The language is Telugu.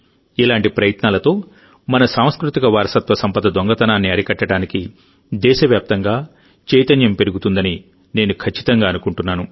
ఇలాంటి ప్రయత్నాలతో మన సాంస్కృతిక వారసత్వ సంపద దొంగతనాన్ని అరికట్టడానికి దేశవ్యాప్తంగా చైతన్యం పెరుగుతుందని నేను ఖచ్చితంగా అనుకుంటున్నాను